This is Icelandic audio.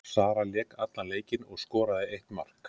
Sara lék allan leikinn og skoraði eitt mark.